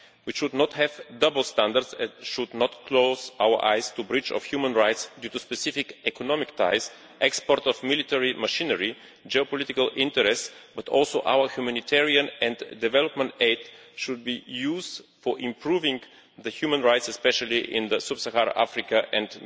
We should not have double standards and should not close our eyes to breaches of human rights due to specific economic ties, exports of military machinery or geopolitical interests, but also our humanitarian and development aid should be used for improving human rights, especially in Sub Saharan Africa and